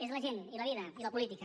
és la gent i la vida i la política